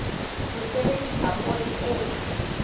ho sebedisa poone e le